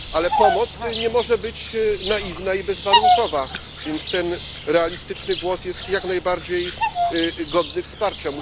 Jednak pomoc nie może być naiwna i bezwarunkowa, więc ten realistyczny głos jest jak najbardziej godny wsparcia.